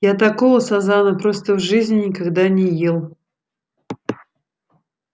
я такого сазана просто в жизни никогда не ел